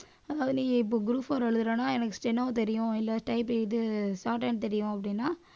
அதாவது நீங்க இப்ப group four எழுதறன்ன எனக்கு steno தெரியும் இல்ல type இது shorthand தெரியும் அப்படின்னா